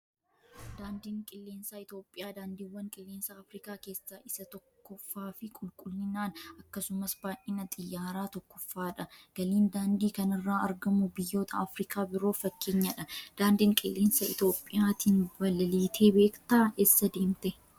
Daandiin qilleensaa Itoophiyaa daandiiwwan qilleensaa Afrikaa keessaa isa tokkoffaa fi qulqullinaan akkasumas baay'ina xiyyaaraan tokkoffaadha. Galiin daandii kanarraa argamu biyyoota Afrikaa biroof fakkeenyadha. Daandii qilleensa Itoophiyaatiin balaliitee beektaa? Eessa deemtee?